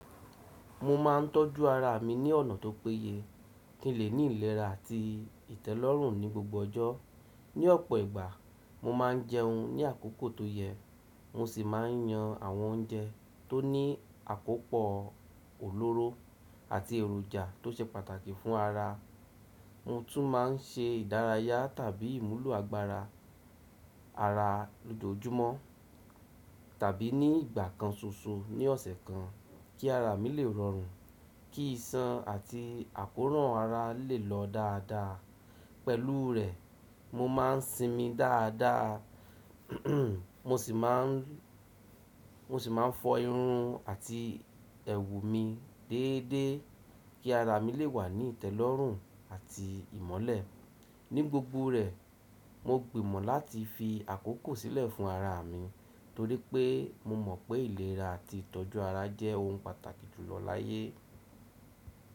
Mo ma ńtọ́jú ara mi ní ọ̀nà tó pé yẹ kí n lè ní ìlera àti ìtẹ́lọ́rùn ní gbogbo ọjọ́. Ní ọ̀pọ̀ ìgbà, mo máa ń jẹun ní àkókò tó yẹ, mo sì máa ń yan àwọn oúnjẹ tó ní àkópò òlóró àti èròjà tó ṣe pàtàkì fún ara. Mo tún máa ń ṣe ìdárayá tàbí ìmúlù àgbára ara lójoojúmọ́ tàbí ní ìgbà kan ṣoṣo ní ọ̀sẹ̀ kan kí ara mi lè rọrùn, kí ìsán àti àkóràn ara lè lọ dáadáa. Pẹ̀lú rẹ̀, mo máa ń sinmi dáadáa, mo sì máa ń fọ irun àti ẹ̀wù mi déédéé kí ara mi lè wà ní ìtẹ́lọ́rùn àti ìmọ́lẹ̀. Ní gbogbo rẹ̀, mo gbìnmọ̀ láti fi àkókò sílẹ̀ fún ara mi, torí pé mo mọ̀ pé ìlera àti ìtọ́jú ara jẹ́ ohun pàtàkì jùlọ láyé.